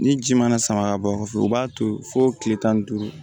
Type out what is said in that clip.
Ni ji mana sama ka bɔ fu u b'a to fo kile tan ni duuru